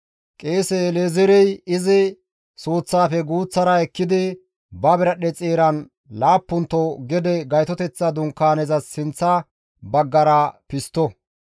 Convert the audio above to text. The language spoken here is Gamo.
Qeese El7ezeerey izi suuththafe guuththara ekkidi ba biradhdhe xeeran laappunto gede Gaytoteththa Dunkaanezas sinththa baggara pistto.